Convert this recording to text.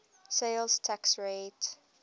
sales tax rate